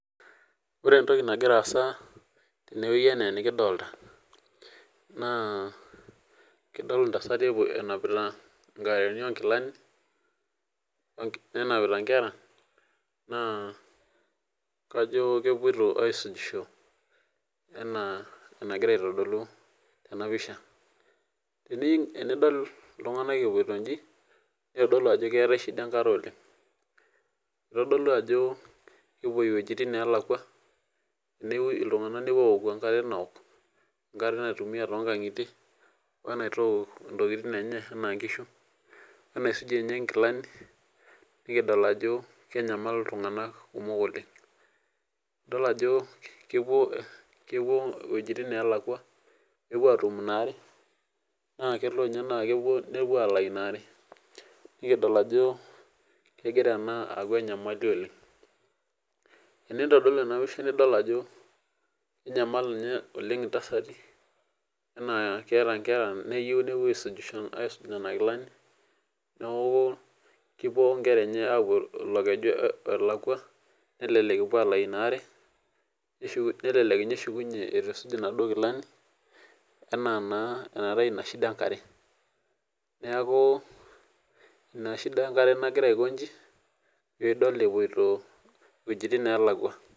Ore entoki nagiraasa tenewuei anaa enikidolta naa kidol intasati epuo enapita inkaraini onkilani, nenapita nkera naa kajoo kepuoito aisujisho enaa enagira aitodolu tena pisha. Ining enidol iltung'anak epuoito inji neitodolu ajo keetai shida enkare oleng', eitodolu ajo kepuoi iwuejitin naalakwa newoi iltung'anak nepuo aoku enkare naok, nkare naitumia tongang'itie oenaitook intokitin enye anaa nkishu, oenasujie ninye nkilani pikidol ajo kenyamal iltung'anak kumok oleng'. Idol ajo kepuo, kepuo iwuejitin neelakwa peewuo atum inaare naakelo ninye naakepuo nepuo alayi inaare. Nikidol ajo kegira ena aaku enyamali oleng'. Teneitodolu enapisha nidol ajo enyamal ninye oleng' intasati anaa keata nkera neyou nepuo aisujisho aisuj nena kilani neaku kepuo onkera enye apuo ilo keju olakwa nelelek epuo alayi inare neshuku nelelek ninye eshukunye eitu eisuj inaduo kilani anaa naa enatai ina shida enkare. Neaku ina  shida enkare nagira aiko inyji piidol epuoito iwuejitin neelakwa.